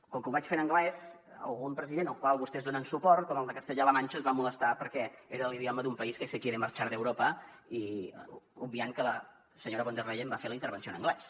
com que ho vaig fer en anglès algun president al qual vostès donen suport com el de castella la manxa es va molestar perquè era l’idioma d’un país que se quiere marchar de europa obviant que la senyora von der leyen va fer la intervenció en anglès